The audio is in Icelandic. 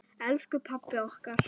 Elsku pabbi okkar.